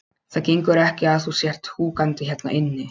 Það gengur ekki að þú sért húkandi hérna inni.